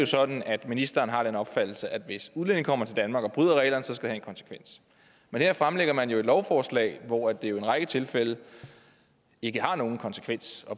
sådan at ministeren har den opfattelse at hvis udlændinge kommer til danmark og bryder reglerne skal det have en konsekvens men her fremsætter man jo et lovforslag hvor det i en række tilfælde ikke har nogen konsekvens